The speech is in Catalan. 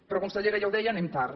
però consellera ja ho deia anem tard